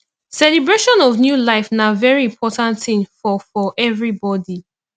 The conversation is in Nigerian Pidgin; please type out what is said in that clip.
celebration of a new life na very important thing for for everybody